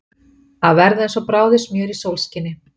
Að verða eins og bráðið smjör í sólskini